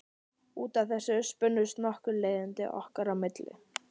Út af þessu spunnust nokkur leiðindi okkar á milli.